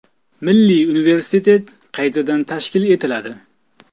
Milliy universitet qaytadan tashkil etiladi.